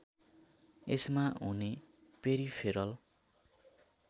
यसमा हुने पेरिफेरल